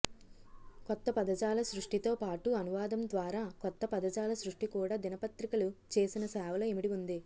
కొత్త పదజాల సృష్టితో పాటు అనువాదం ద్వారా కొత్త పదజాల సృష్టి కూడా దినపత్రికలు చేసిన సేవలో ఇమిడి ఉంది